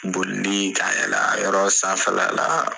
Boli ni ka yɛlɛ a yɔrɔ sanfɛla la